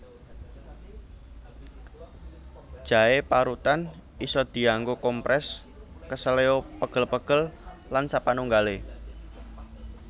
Jaé parutan isa dianggo komprès keseleo pegel pegel lan sapanunggalé